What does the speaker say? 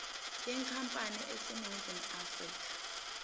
yenkampani eseningizimu afrika